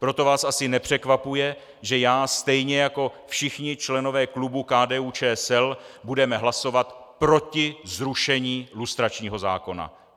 Proto vás asi nepřekvapuje, že já stejně jako všichni členové klubu KDU-ČSL budeme hlasovat proti zrušení lustračního zákona.